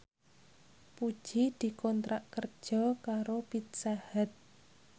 Puji dikontrak kerja karo Pizza Hut